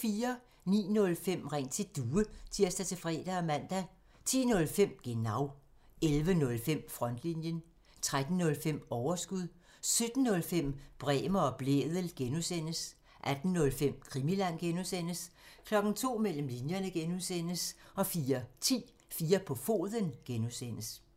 09:05: Ring til Due (tir-fre og man) 10:05: Genau 11:05: Frontlinjen 13:05: Overskud 17:05: Bremer og Blædel (G) 18:05: Krimiland (G) 02:00: Mellem linjerne (G) 04:10: 4 på foden (G)